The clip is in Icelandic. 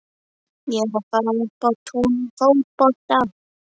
Ég er að fara upp á tún í fótbolta.